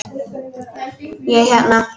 Ég hérna.